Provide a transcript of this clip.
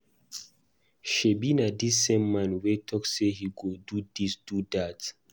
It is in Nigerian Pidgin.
Shebi na dis same man wey talk say he go do dis, do dat.